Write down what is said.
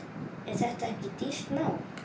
Er þetta ekki dýrt nám?